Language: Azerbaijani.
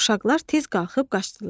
Uşaqlar tez qalxıb qaçdılar.